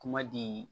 Kuma di